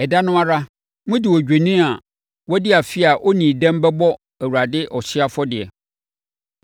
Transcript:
Ɛda no ara, mode odwennini a wadi afe a ɔnnii dɛm bɛbɔ Awurade ɔhyeɛ afɔdeɛ,